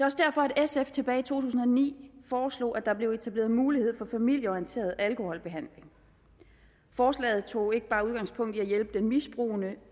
også derfor at sf tilbage tusind og ni foreslog at der blev etableret en mulighed for familieorienteret alkoholbehandling forslaget tog ikke bare udgangspunkt i at hjælpe den misbrugende